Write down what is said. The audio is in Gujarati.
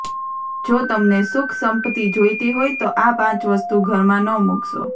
જો તમને સુખ સંપત્તિ જોઈતી હોય તો આ પાંચ વસ્તુ ઘરમાં ન મુકશો